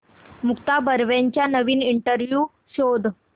मुक्ता बर्वेचा नवीन इंटरव्ह्यु शोध